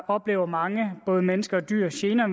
oplever mange både mennesker og dyr gener